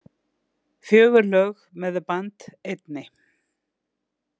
Fjögur lög með The Band einni.